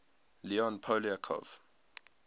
leon poliakov